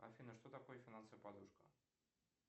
афина что такое финансовая подушка